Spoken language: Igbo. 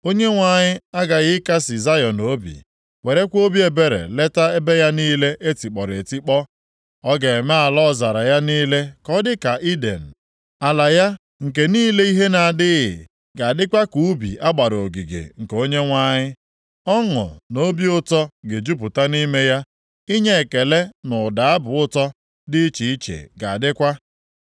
Onyenwe anyị aghaghị ịkasị Zayọn obi, werekwa obi ebere leta ebe ya niile e tikpọrọ etikpọ, ọ ga-eme ala ọzara ya niile ka ọ dịka Iden, ala ya nke niile ihe na-adịghị ga-adịkwa ka ubi a gbara ogige nke Onyenwe anyị. Ọṅụ na obi ụtọ ga-ejupụta nʼime ya, inye ekele na ụda abụ ụtọ dị iche iche ga-adịkwa.